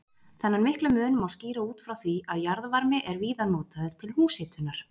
Þennan mikla mun má skýra út frá því að jarðvarmi er víða notaður til húshitunar.